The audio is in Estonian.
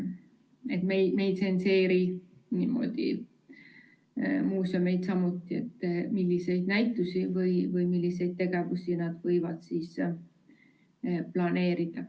Samamoodi ei tsenseeri me muuseume, milliseid näitusi või milliseid tegevusi nad võivad planeerida.